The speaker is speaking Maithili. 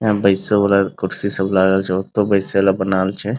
यहां बैसे वाला कुर्सी सब लागल छै ओतो बैसे वाला बनावल छै।